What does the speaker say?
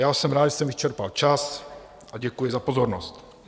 Já jsem rád, že jsem vyčerpal čas, a děkuji za pozornost.